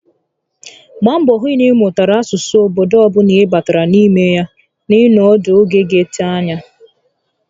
Mgbaa mbọ hụ na ị mụtara asụsụ obodo ọbula ị batara n'ime ya ị nọ ọnọdụ oge ga ete ányá